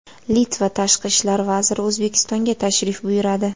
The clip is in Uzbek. Litva tashqi ishlar vaziri O‘zbekistonga tashrif buyuradi.